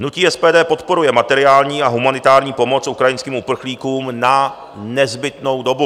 Hnutí SPD podporuje materiální a humanitární pomoc ukrajinským uprchlíkům na nezbytnou dobu.